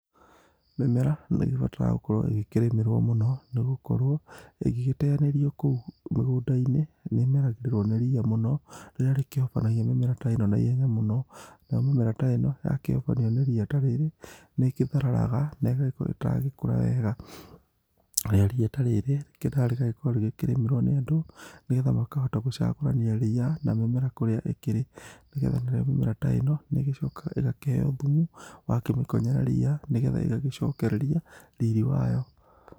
Mĩmera nĩgĩbataragwo gũkorwo ĩgĩkĩrĩmĩrwo mũno nĩngũkorwo ĩgĩgĩteanĩrĩo koũ mũgũnda-ĩnĩ, nĩmeragĩrĩrwo nĩ rĩa mũno rĩrĩa rĩkĩhobanagĩrĩa mĩmera ta ĩno naĩhenya mno. Nayo mĩmera ta ĩno ya kĩhobanĩrĩo nĩ rĩa ta rĩrĩ nĩgĩkĩtheragarara na ĩgagĩkorwo ĩtagũgĩkora wega. Rĩa ta rĩrĩ rĩkĩendaga gũkorwo rĩkĩremerwo nĩ andũ nĩgetha magagĩkĩhota gũcagoranĩa rĩa na mĩmera kũrĩa ĩkĩrĩ. Nĩgetha mĩmera ta ĩno nĩgĩcokanga ĩgakĩheo nyũmũ, wakĩmekonyera rĩa nĩgetha ĩgagĩcokererĩa rĩrĩ wayo.